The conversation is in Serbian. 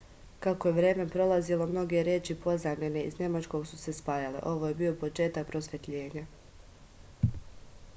kako je vreme prolazilo mnoge reči pozajmljene iz nemačkog su se spajale ovo je bio početak prosvetljenja